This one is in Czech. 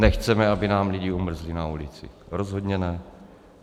Nechceme, aby nám lidi umrzli na ulici, rozhodně ne.